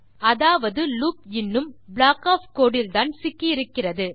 அதாவது லூப் இன்னும் block of code இல் தான் சிக்கி இருக்கிறது